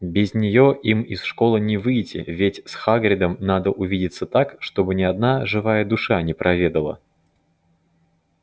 без нее им из школы не выйти ведь с хагридом надо увидеться так чтобы ни одна живая душа не проведала